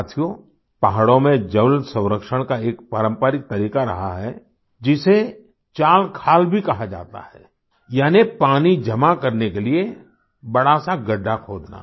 साथियों पहाड़ों में जल संरक्षण का एक पारंपरिक तरीक़ा रहा है जिसे चालखाल भी कहा जाता है यानि पानी जमा करने के लिए बड़ा सा गड्ढा खोदना